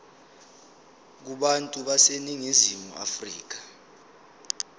kubantu baseningizimu afrika